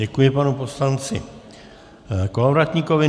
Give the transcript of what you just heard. Děkuji panu poslanci Kolovratníkovi.